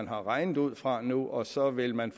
beregninger ud fra nu og så ville man